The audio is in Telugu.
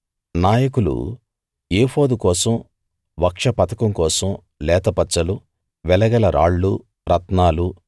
నాయకులు ఏఫోదు కోసం వక్షపతకం కోసం లేత పచ్చలు వెలగల రాళ్ళూ రత్నాలు